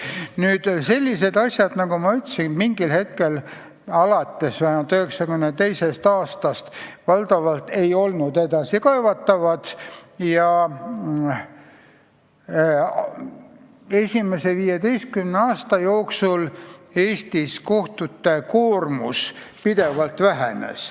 Nüüd, nagu ma ütlesin, mingil hetkel alates vähemalt 1992. aastast kohtumäärused valdavalt ei olnud edasikaevatavad ja esimese 15 aasta jooksul pärast seda Eestis kohtute koormus pidevalt vähenes.